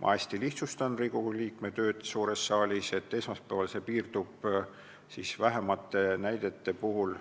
Ma hästi lihtsustan Riigikogu liikme tööd suures saalis, aga teatavasti piirdub see esmaspäeval